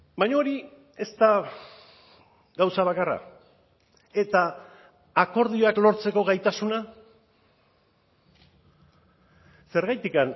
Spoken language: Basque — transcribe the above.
baina hori ez da gauza bakarra eta akordioak lortzeko gaitasuna zergatik